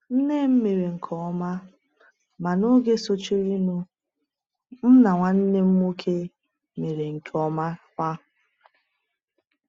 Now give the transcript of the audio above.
Nne m mere nke ọma, ma n’oge sochirinụ, m na nwanne m nwoke mere nke ọma kwa.